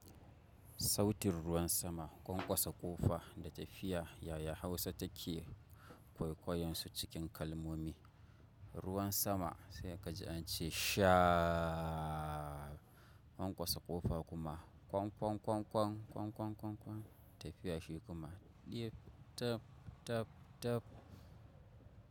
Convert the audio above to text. Sautin ruwan sama, kwankwasa ƙofa da tafiya yaya Hausa take kwaikwayonsu cikin kalmomi? Ruwan sama sai ka ji an ce sha aaaaa. Kwankwasa ƙofa kuma kwan kwan kwan kwan kwan kwan kwan kwan. Tafiya shi kuma ɗe tap tap tap.